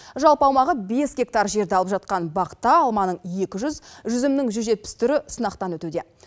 жалпы аумағы бес гектар жерді алып жатқан бақта алманың екі жүз жүзімнің жүз жетпіс түрі сынақтан өтуде